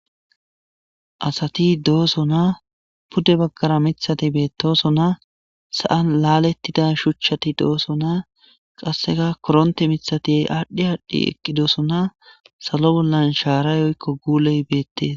asati dooso na pudde baggara mithati beettoso na sa7an laalettida shuchchati dooso naa qasseka koronte mithatiy aadhdhi aadhdhi eqqidoosona salo bollan shaarayoykko guuley beettees